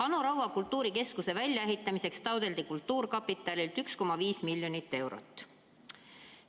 Anu Raua kultuurikeskuse väljaehitamiseks taotleti kultuurkapitalilt 1,5 miljonit eurot.